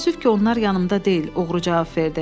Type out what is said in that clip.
Təəssüf ki, onlar yanımda deyil, oğru cavab verdi.